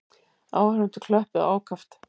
Áhorfendur klöppuðu ákaft.